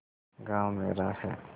गॉँव मेरा है